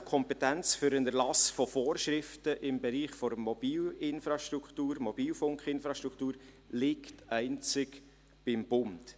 Die Kompetenz für den Erlass von Vorschriften im Bereich der Mobilfunkinfrastruktur liegt einzig beim Bund;